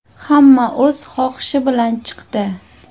Hamma o‘z xohishi bilan chiqdi.